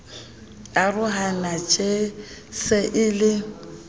arohana tjeee se e le